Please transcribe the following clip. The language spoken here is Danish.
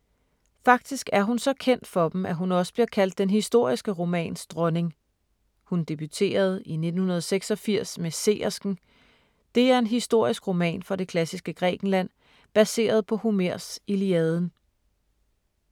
Faktisk er hun så kendt for dem, at hun også bliver kaldt den historiske romans dronning. Hun debuterede i 1986 med Seersken. Det er en historisk roman fra det klassiske Grækenland, baseret på Homers Iliaden.